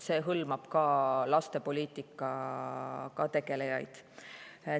See hõlmab ka lastepoliitikaga tegelejaid.